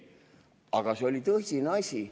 Aga see oli tõsine asi.